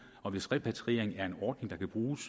og hvis repatriering er en ordning der kan bruges